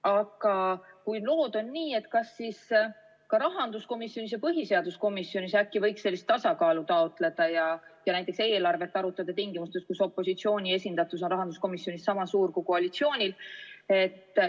Aga kui lood on nii, kas siis võiks äkki ka rahanduskomisjonis ja põhiseaduskomisjonis sellist tasakaalu taotleda ja näiteks eelarvet arutada tingimustes, kus opositsiooni esindatus on rahanduskomisjonis sama suur kui koalitsioonil?